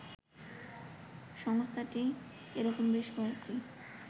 সংস্থাটি এরকম বেশ কয়েকটি